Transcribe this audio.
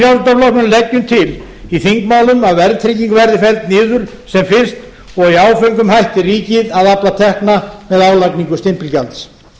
frjálslynda flokknum leggjum til í þingmálum að verðtrygging verði felld niður sem fyrst og að í áföngum hætti ríkið að afla tekna með álagningu stimpilgjalds